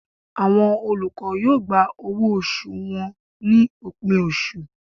Awọn olukọ yoo gbá ọwọ osù wọn ni opin oṣú